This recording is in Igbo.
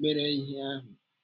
mere ihe ahụ?